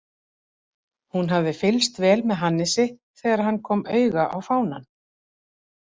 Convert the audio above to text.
Hún hafði fylgst vel með Hannesi þegar hann kom auga á fánann.